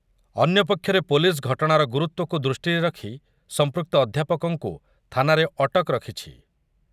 ଅନ୍ୟପକ୍ଷରେ ପୋଲିସ୍‌ ଘଟଣାର ଗୁରୁତ୍ୱକୁ ଦୃଷ୍ଟିରେ ରଖି ସମ୍ପ୍ରୁକ୍ତ ଅଧ୍ୟାପକଙ୍କୁ ଥାନାରେ ଅଟକ ରଖିଛି ।